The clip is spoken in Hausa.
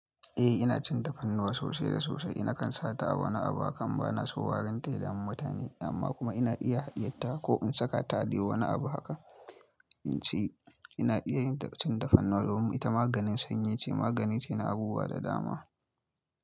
Eh ina cin tafarnuwa sosai da sosai. Ina kan sata a wani abu akan bana so warinta ya damu mutane amma kuma ina iya hadiyarta ko in sakata adai wani abu haka. Ince ina iya cin tafarnuwa domin ita maganin sanyi ce, magani ce na abubuwa da dama.